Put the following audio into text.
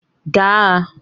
Gaa agha